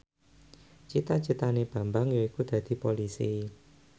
cita citane Bambang yaiku dadi Polisi